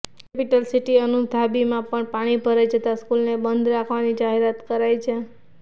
capital city અબુધાબીમાં પણ પાણી ભરાઈ જતાં સ્કૂલને બંધ રાખવાની જાહેરાત કરાઈ છે